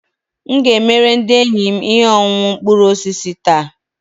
M ga-emere ndị enyi m ihe ọṅụṅụ mkpụrụ osisi taa